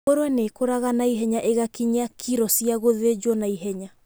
Ngũrũe nĩ ikũraga naihenya igakinyia kiro cia gũthĩnjwo naihenya.